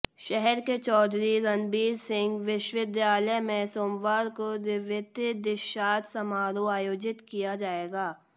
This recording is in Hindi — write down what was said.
शहर के चौधरी रणबीर सिंह विश्वविद्यालय में सोमवार को द्वितीय दीक्षांत समारोह आयोजित किया जाएगा